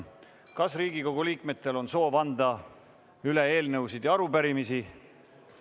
Kas Riigikogu liikmetel on soovi anda üle eelnõusid ja arupärimisi?